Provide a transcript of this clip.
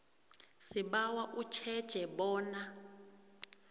sibawa utjheje bona